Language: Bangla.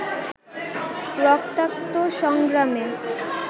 রক্তাক্ত সংগ্রামে